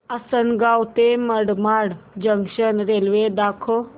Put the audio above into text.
आसंनगाव ते Manmad junction railway दाखव